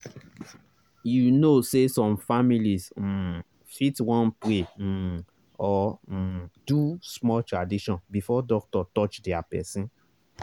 you know say some families um fit wan pray um or um do small tradition before doctor touch their person.